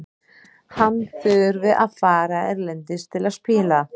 Hann þurfi að fara erlendis til að spila.